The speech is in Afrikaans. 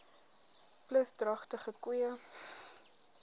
plus dragtige koeie